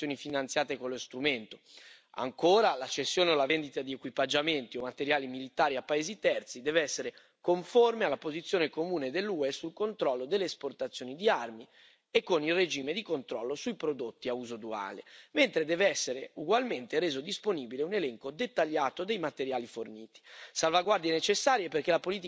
Ancora, la cessione o la vendita di equipaggiamenti o materiali militari a paesi terzi deve essere conforme alla posizione comune dell'UE sul controllo delle esportazioni di armi e con il regime di controllo sui prodotti a uso duale, mentre deve essere ugualmente reso disponibile un elenco dettagliato dei materiali forniti, salvaguardie necessarie perché la politica di sicurezza e difesa non